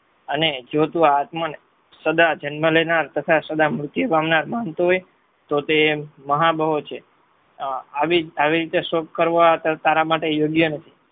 અને જો તું આતમને સદા જન્મ લેનાર તથા સદા મૃત્યુ પામનાર માંગતો હોય તો તે મહાબહો છે આવી રીતે શોક કરવો રરા માટે યોગ્ય નથી